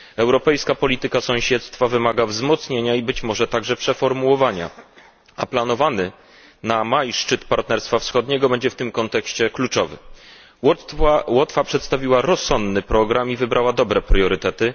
Europejska polityka sąsiedztwa wymaga wzmocnienia i być może także przeformułowania, a planowany na maj szczyt Partnerstwa Wschodniego będzie w tym kontekście kluczowy. Łotwa przedstawiła rozsądny program i wybrała dobre priorytety.